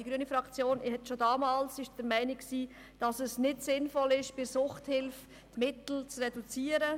Die grüne Fraktion war schon damals der Meinung, dass es nicht sinnvoll ist, bei der Suchthilfe Mittel zu reduzieren.